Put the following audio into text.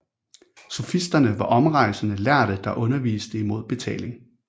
Sofisterne var omrejsende lærde der underviste imod betaling